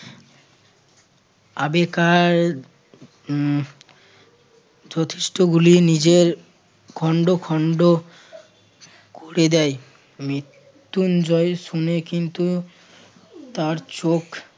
আবে কার উম যথেষ্ঠগুলি নিজের খন্ড খন্ড করে দেয়। মৃত্যুঞ্জয় শুনে কিন্তু তার চোখ